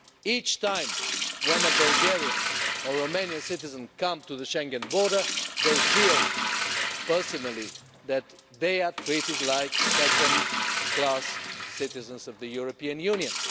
Each time a Bulgarian or Romanian citizen comes to the Schengen border, they feel personally that they are being treated like second-class citizens of the European Union.